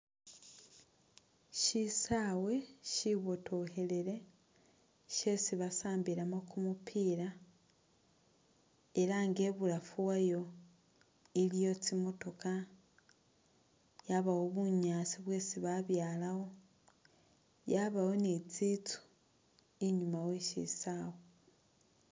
Shisawe shibotokhelele shyesi basambilamo kumupila era nga ibulafu wayo iliyo tsimotokha yabawo bunyaasi bwesi babyalawo, yabawo ni tsitsu inyuma wesisawe.